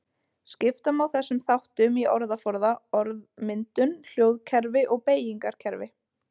Skipta má þessum þáttum í orðaforða, orðmyndun, hljóðkerfi og beygingarkerfi.